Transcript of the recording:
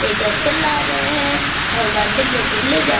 एक अकल आ रहे हैं और गार्डन में घुमने जा --